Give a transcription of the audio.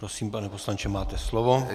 Prosím, pane poslanče, máte slovo.